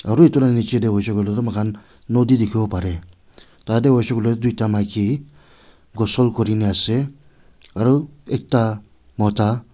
Aro etu la nechidae hoishe hoile tuh mokhan noudi dekhivo parey tatey hoishe hoile tuh duida maki ghosol kurina ase aro ekta mota--